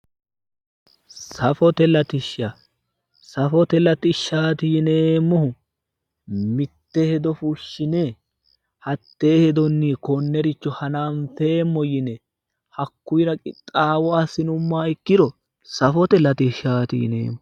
safote latishsha safote latishshaati yineemmohu mitte hedo fushshine hatee hedonni konnericho hananfeemmo yine hakuyiira qixxaawo assinummoha ikkiro safote latishshaati yineemmo.